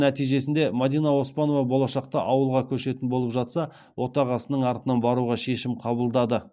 нәтижесінде мадина оспанова болашақта ауылға көшетін болып жатса отағасының артынан баруға шешім қабылдады